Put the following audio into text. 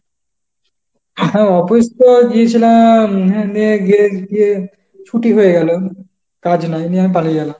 হ্যাঁ office তো গিয়েছিলাম, নিয়ে গিয়ে ছুটি হয়ে গেল কাজ নাই, নিয়ে আমি পালিয়ে গেলাম।